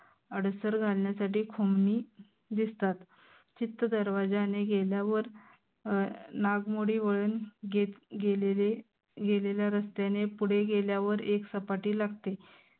अडसर घालन्यासाठी खोमनी दिसतात चित्त दरवाज्याने गेल्यावर अं नागमोडी वळन गेले गेलेले गेलेल्या रस्त्याने पुढे गेल्यावर एक सपाटी लागते.